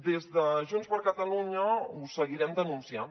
des de junts per catalunya ho seguirem denunciant